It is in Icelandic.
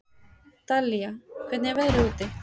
Dallilja, hvernig er veðrið úti?